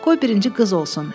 Qoy birinci qız olsun.